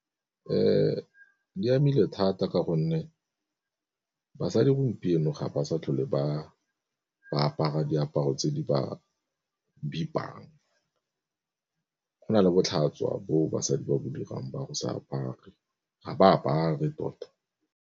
Di amile thata ka gonne basadi gompieno ga ba sa tlhole ba apara diaparo tse di ba bipang, go na le botlhaswa bo basadi ba ba dirang ba go sa apare ga ba apare tota.